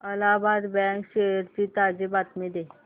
Allahabad bank shares ची ताजी माहिती दे